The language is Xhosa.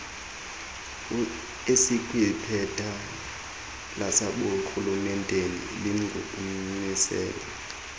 esikwiphepha laseburhulementeni linokumisela